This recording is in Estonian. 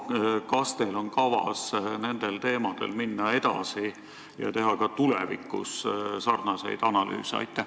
Kas teil on kavas nende teemadega edasi minna ja teha ka tulevikus samasuguseid analüüse?